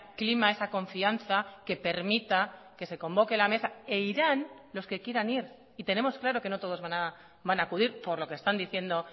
clima esa confianza que permita que se convoque la mesa e irán los que quieran ir y tenemos claro que no todos van a acudir por lo que están diciendo